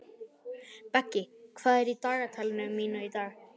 Beggi, hvað er í dagatalinu mínu í dag?